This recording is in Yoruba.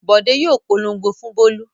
Bọ̀dé yóò polongo fún Bólú.